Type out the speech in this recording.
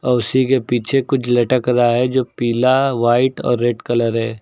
और उसी के पीछे कुछ लटक रहा है जो पीला व्हाइट और रेड कलर है।